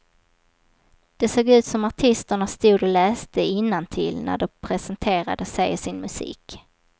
Det såg ut som artisterna stod och läste innantill när de presenterade sig och sin musik.